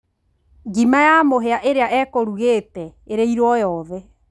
Ngima ya mũhia ĩrĩa ekũrugĩte, ĩrĩirwo yothe